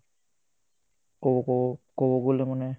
খো খো তামানে